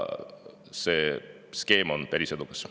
See skeem on päris edukas.